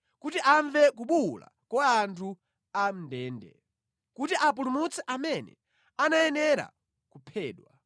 kuti amve kubuwula kwa anthu a mʼndende, kuti apulumutse amene anayenera kuphedwa.”